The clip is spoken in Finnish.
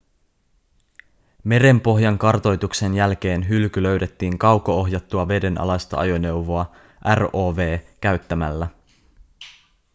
merenpohjan kartoituksen jälkeen hylky löydettiin kauko-ohjattua vedenalaista ajoneuvoa rov käyttämällä